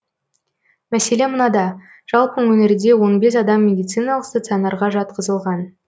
мәселе мынада жалпы өңірде он бес адам медициналық стационарға жатқызылған